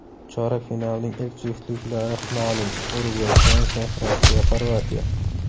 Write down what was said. Chorak finalning ilk juftliklari ma’lum: UrugvayFransiya, RossiyaXorvatiya.